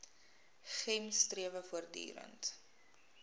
gems strewe voortdurend